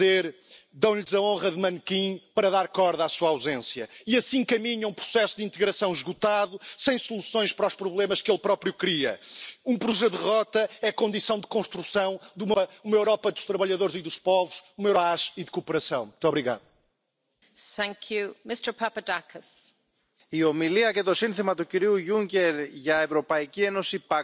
Steeds meer Europese burgers willen een nieuwe Europese Unie, waarin de lidstaten en de volkeren niet verdwijnen, maar in ere worden hersteld. In uw ivoren toren hebt u de wereld zo mooi ingedeeld in kosmopolitische, ruimdenkende, rondreizende, goede mensen aan de ene kant en populistische, bekrompen, xenofobe, nationalistische, slechte mensen aan de andere kant. U, fanatieke, extremistische aanhangers van de diversiteit, roep ik daarom op aanvaard de diversiteit van meningen en visies, berg uw boodschappenlijstje op en maak plaats voor de nieuwe tijd!